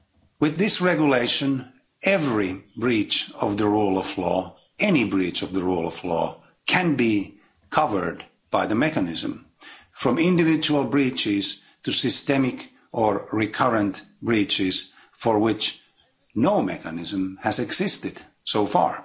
With this regulation, every breach of the rule of law any breach of the rule of law can be covered by the mechanism, from individual breaches to systemic or recurrent breaches for which no mechanism has existed so far.